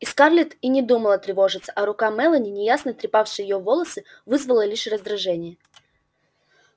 и скарлетт и не думала тревожиться а рука мелани неясно трепавшая её волосы вызвала лишь раздражение